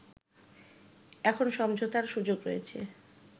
“এখন সমঝোতার সুযোগ রয়েছে